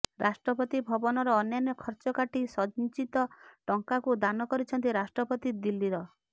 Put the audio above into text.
ରାଷ୍ଟ୍ରପତି ଭବନର ଅନ୍ୟାନ୍ୟ ଖର୍ଚ୍ଚ କାଟି ସଞ୍ଚିତ ଟଙ୍କାକୁ ଦାନ କରିଛନ୍ତି ରାଷ୍ଟ୍ରପତି ଦିଲ୍ଲୀର